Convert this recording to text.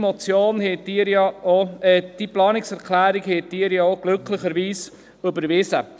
Diese Planungserklärung habt ihr ja glücklicherweise auch überwiesen.